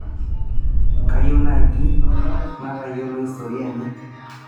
kayieu naaji natayiolo historia enye